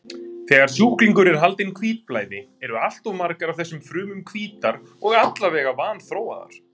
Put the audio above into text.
Þegar sjúklingur er haldinn hvítblæði, eru alltof margar af þessum frumum hvítar og allavega vanþróaðar.